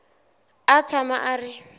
a a tshama a ri